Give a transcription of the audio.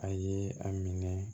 A ye a minɛ